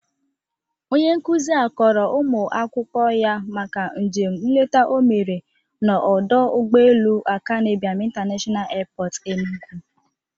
Onye nkuzi a kọrọ ụmụ akwụkwọ ya maka njem nleta o mere n'ọdọ ụgbọelu Akanụ Ibiam International Airport Enugu.